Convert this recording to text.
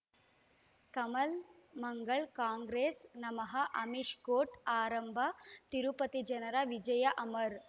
ಕಮಲ್ ಮಂಗಳ್ ಕಾಂಗ್ರೆಸ್ ನಮಃ ಅಮಿಷ್ ಕೋರ್ಟ್ ಆರಂಭ ತಿರುಪತಿ ಜನರ ವಿಜಯ ಅಮರ್